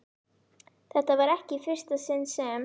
Þetta var ekki í fyrsta sinn sem